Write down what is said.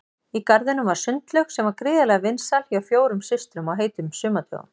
Í garðinum var sundlaug sem var gríðarlega vinsæl hjá fjórum systrum á heitum sumardögum.